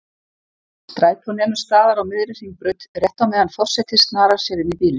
Strætó nemur staðar á miðri Hringbraut, rétt á meðan forseti snarar sér inní bílinn.